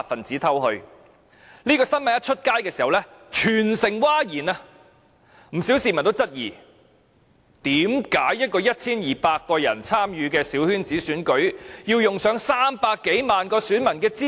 這新聞報道後，全城譁然，不少市民質疑，為甚麼 1,200 人參與的小圈子選舉，要用上300多萬名選民的資料？